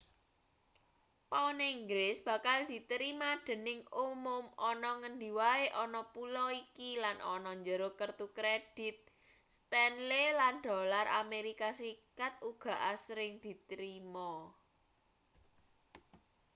pound inggris bakal diterima dening umum ana ngendi wae ana pulo iki lan ana njero kertu kredit stanley lan dolar amerika serikat uga asring diterima